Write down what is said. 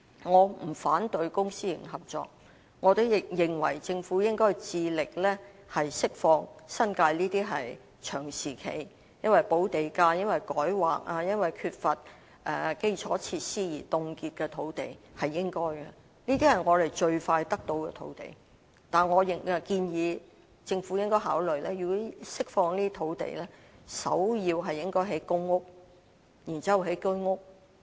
我不反對公私營合作，我也認為政府應致力釋放這些長時間因補地價、改劃或缺乏基礎設施而凍結的新界土地，這是應該做的，這也是我們最快能夠得到的土地途徑；但政府如果真的能夠釋放這些土地，我建議首要應該興建公屋，然後是居屋。